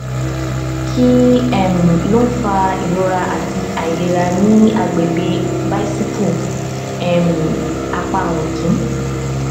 ṣé um àìsí ìlù ọkàn ọmọ um inú ọmọ lórí ultrasound jẹrìí sí ìṣẹyún